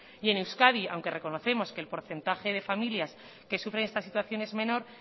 y en euskadi aunque reconocemos que el porcentaje de familias que sufren esta situación es menor